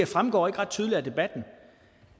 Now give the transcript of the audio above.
fremgår ikke ret tydeligt af debatten